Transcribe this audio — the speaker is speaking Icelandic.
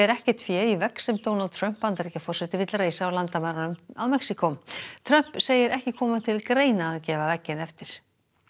ekkert fé í vegg sem Donald Trump Bandaríkjaforseti vill reisa á landamærunum að Mexíkó Trump segir ekki koma til greina að gefa vegginn eftir